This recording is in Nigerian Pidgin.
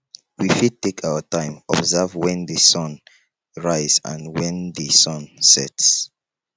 we fit take our time observe when di sun rise and when di sun sets